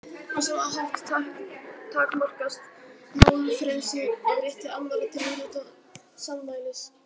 Á sama hátt takmarkast málfrelsið af rétti annarra til að njóta sannmælis.